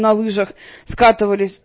на лыжах скатывались